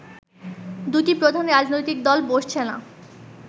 দু’টি প্রধান রাজনৈতিক দল বসছেনা